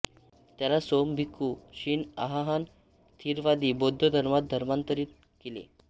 त्याला सोम भिक्खु शिन अहाहान थेरवादी बौद्ध धर्मात धर्मांतरीत केले